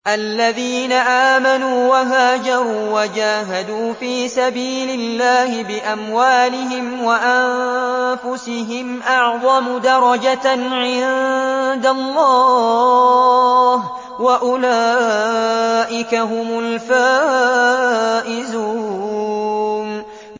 الَّذِينَ آمَنُوا وَهَاجَرُوا وَجَاهَدُوا فِي سَبِيلِ اللَّهِ بِأَمْوَالِهِمْ وَأَنفُسِهِمْ أَعْظَمُ دَرَجَةً عِندَ اللَّهِ ۚ وَأُولَٰئِكَ هُمُ الْفَائِزُونَ